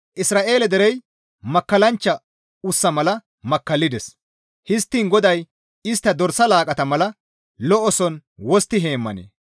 Isra7eele derey makkallanchcha ussa mala makkallides; histtiin GODAY istta dorsa laaqqata mala lo7oson wostti heemmanee?